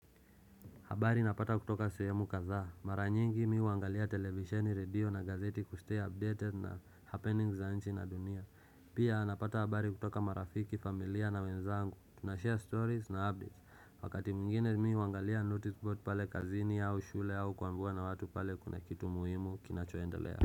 Habari napata kutoka suhemu kadhaa. Mara nyingi mimi ungalia televisheni, radio na gazeti kustay updated na happenings za nchi na dunia. Pia napata habari kutoka marafiki, familia na wenzangu. Tunashare stories na updates. Wakati mwigine mimi wangalia noticeboard pale kazini au shule au kuambua na watu pale kuna kitu muhimu kinachoendelea.